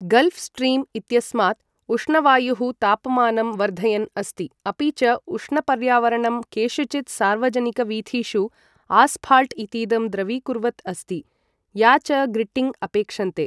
Gulf stream इत्यस्मात् उष्णवायुः तापमानं वर्धयन् अस्ति, अपि च उष्णपर्यावरणं केषुचित् सार्वजनिकवीथिषु आस्फाल्ट् इतीदं द्रवीकुर्वत् अस्ति, या च ग्रिट्टिङ् अपेक्षन्ते।